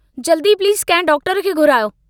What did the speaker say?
जल्दी प्लीज़ कंहिं डॉक्टर खे घुरायो।